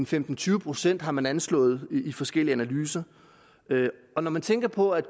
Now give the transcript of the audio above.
fem og tyve procent har man anslået i forskellige analyser og når man tænker på at